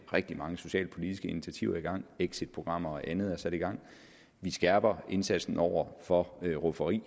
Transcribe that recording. rigtig mange socialpolitiske initiativer i gang exitprogrammer og andet er sat i gang vi skærper her indsatsen over for rufferi